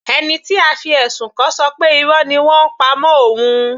Ẹni tí a fi ẹ̀sùn kàn ṣọ pé Irọ́ ni wọ́n ń pa mọ́ òun.